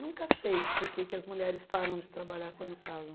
Nunca sei por que que as mulheres param de trabalhar quando casam.